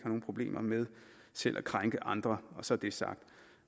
nogen problemer med selv at krænke andre så er det sagt